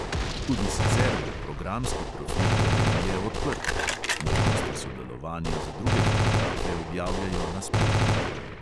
Tudi sicer bo programski profil galerije odprt (možnosti sodelovanja za druge fotografe objavljajo na spletu).